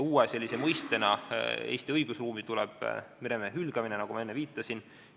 Uue mõistena tuleb Eesti õigusruumi meremehe hülgamine, millele ma enne viitasin.